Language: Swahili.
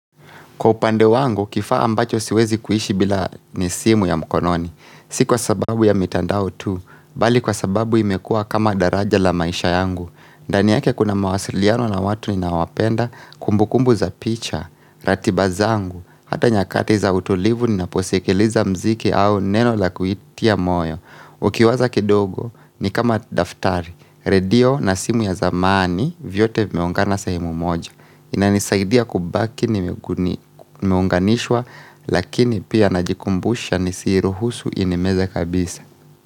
Kwa upande wangu, kifaa ambacho siwezi kuishi bila ni simu ya mkononi. Si kwa sababu ya mitandao tu, bali kwa sababu imekuwa kama daraja la maisha yangu. Ndani yake kuna mawasiliano na watu ninawapenda, kumbukumbu za picha, ratiba zangu, hata nyakati za utulivu ninaposikiliza mziki au neno la kuitia moyo. Ukiwaza kidogo, ni kama daftari. Redio na simu ya zamani, vyote vimeungana sehemu moja. Inanisaidia kubaki nimeunganishwa lakini pia najikumbusha nisiruhusu inimeze kabisa.